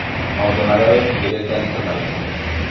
Maũndũ marĩa wetigĩrĩte nĩ ta marĩkũ?